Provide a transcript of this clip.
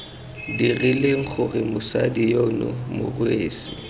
dirileng gore mosadi yono morwesi